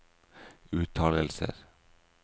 uttalelser